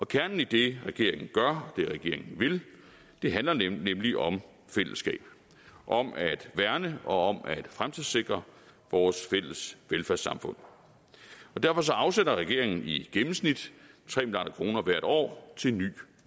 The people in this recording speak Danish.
kernen i det regeringen gør og det regeringen vil handler nemlig om fællesskab om at værne om og fremtidssikre vores fælles velfærdssamfund derfor afsætter regeringen i gennemsnit tre milliard kroner hvert år til ny